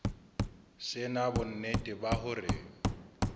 se na bonnete ba hore